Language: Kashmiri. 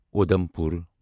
اُدمپور